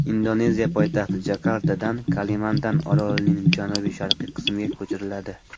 Indoneziya poytaxti Jakartadan Kalimantan orolining janubi-sharqiy qismiga ko‘chiriladi.